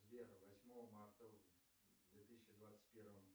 сбер восьмого марта в две тысячи двадцать первом